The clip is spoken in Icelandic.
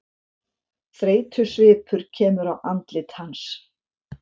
Þreytusvipur kemur á andlit hans.